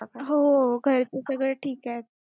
हो, घरचे सगळे ठीक आहेत.